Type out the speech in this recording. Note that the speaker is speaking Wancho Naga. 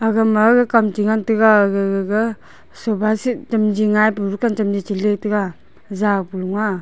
aga ma kam chi ngan tega aga gaga sofa seat chem li ngai pu dukan chem le chi le tega jaw Pali aa.